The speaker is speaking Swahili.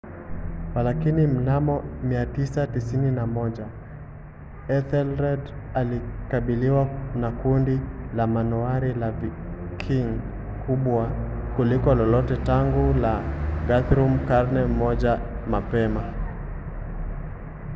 walakini mnamo 991 ethelred alikabiliwa na kundi la manowari la viking kubwa kuliko lolote tangu la guthrum karne moja mapema